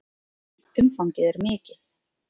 Umfangið er mikið.